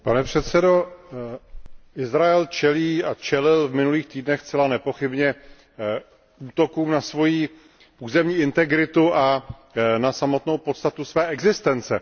Pane předsedající, Izrael čelí a čelil v minulých týdnech zcela nepochybně útokům na svoji územní integritu a na samotnou podstatu své existence.